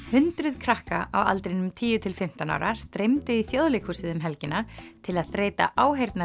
hundruð krakka á aldrinum tíu til fimmtán ára streymdu í Þjóðleikhúsið um helgina til að þreyta